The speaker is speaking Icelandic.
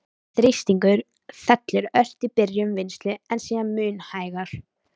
Þrýstingur fellur ört í byrjun vinnslu, en síðan mun hægar.